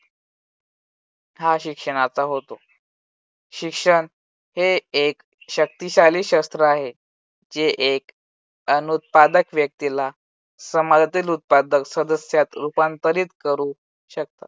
हा शिक्षणाचा होतो शिक्षण हे एक शक्तिशाली शस्त्र आहे. जे एक अनुत्पादक व्यक्तीला समाजातील उत्पादक सदस्यात रूपांतरित करू शकतात.